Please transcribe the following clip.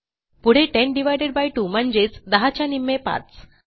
पुढे 10 2 म्हणजेच 10 च्या निम्मे 5